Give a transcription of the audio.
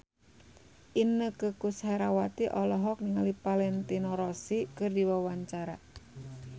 Inneke Koesherawati olohok ningali Valentino Rossi keur diwawancara